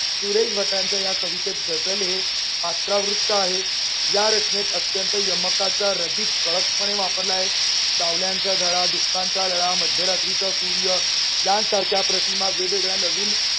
सुरेश भटांच्या या कवितेत गझल हे पात्रावृत्त आहे. या रचनेत अत्यंत यमकाचा रदीप ठळकपणे वापरला आहे. सावल्यांचा झळा, दुःखांचा लळा, मध्यरात्रीचा सूर्य यांसारख्या प्रतिमा वेगवेगळ्या नवीन